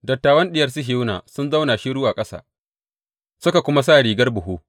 Dattawan Diyar Sihiyona sun zauna shiru a ƙasa; suka kuma sa rigar buhu.